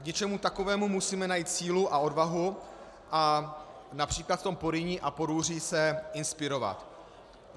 K něčemu takovému musíme najít sílu a odvahu a například v tom Porýní a Porúří se inspirovat.